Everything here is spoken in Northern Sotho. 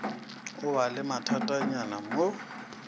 o ba le mathatanyana mo